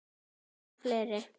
Og fleiri.